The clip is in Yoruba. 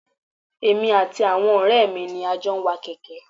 Èmi àti àwọn ọrẹ mi ni a jọ ń wa kèké.